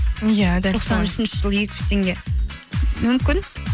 иә үшінші жылы екі жүз теңге мүмкін